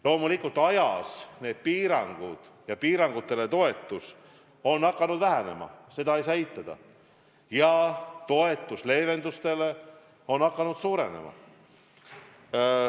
Loomulikult, aja jooksul need piirangud ja toetus piirangutele on hakanud vähenema, seda ei saa eitada, ja toetus leevendustele on hakanud suurenema.